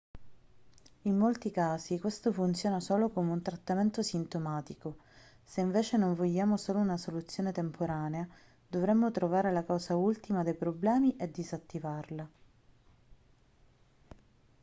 in molti casi questo funziona solo come un trattamento sintomatico se invece non vogliamo solo una soluzione temporanea dovremmo trovare la causa ultima dei problemi e disattivarla